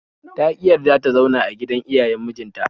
Ta ƙi yarda ta zauna a gidan iyayen mijin ta